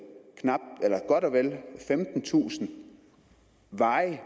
godt og vel femtentusind varig